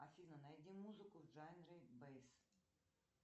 афина найди музыку в жанре бэйс